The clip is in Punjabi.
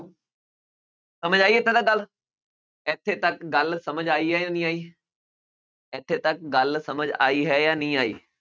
ਸਮਝ ਆਈ ਇੱਥੇ ਤੱਕ ਗੱਲ, ਇੱਥੇ ਤੱਕ ਗੱਲ ਸਮਝ ਆਈ ਹੈ ਜਾਂ ਨਹੀਂ ਆਈ ਇੱਥੇ ਤੱਕ ਗੱਲ ਸਮਝ ਆਈ ਹੈ ਜਾਂ ਨਹੀਂ ਆਈ?